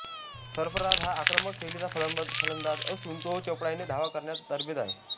सरफराज हा आक्रमक शैलीचा फलंदाज असून तो चपळाईने धावा करण्यात तरबेज आहे